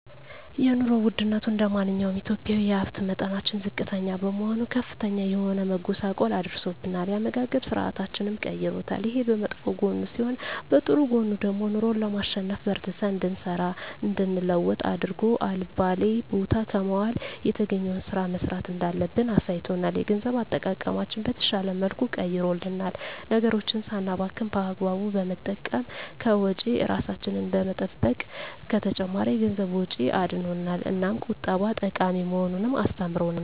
የኑሮ ወድነቱ እንደማንኛውም ኢትዮጵያዊ የሀብት መጠናችን ዝቅተኛ በመሆኑ ከፍተኛ የሆነ መጎሳቆል አድርሶብናል የአመጋገብ ስርአታችንንም ቀይሮታል። ይሄ በመጥፎ ጎኑ ሲሆን በጥሩ ጎኑ ደግሞ ኑሮን ለማሸነፍ በርትተን እንድንሰራ እንድንለወጥ አድርጎ አልባሌ ቦታ ከመዋል የተገኘዉን ስራ መስራት እንዳለብን አሳይቶናል። የገንዘብ አጠቃቀማችንን በተሻለ መልኩ ቀይሮልናል ነገሮችን ሳናባክን በአግባቡ በመጠቀም ከወጪ እራሳችንን በመጠበቅ ከተጨማሪ የገንዘብ ወጪ አድኖናል። እናም ቁጠባ ጠቃሚ መሆኑን አስተምሮናል።